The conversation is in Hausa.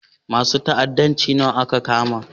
Masun ta'addanci nawa aka kama?